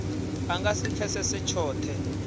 a nga si pfesese tshothe